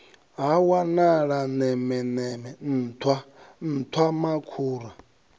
ha wanala nemeneme nṱhwa nṱhwamakhura